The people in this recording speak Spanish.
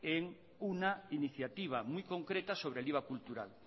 en una iniciativa muy concreta sobre el iva cultural